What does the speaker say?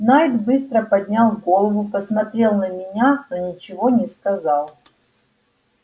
найд быстро поднял голову посмотрел на меня но ничего не сказал